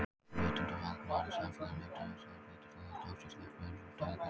Vitundarvakning varð í samfélaginu, orðræðan breyttist og það tókst að skapa umræðu um stöðu kvenna.